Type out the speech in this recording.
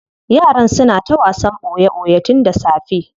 Yaran suna ta wasan boye boye tun da safe.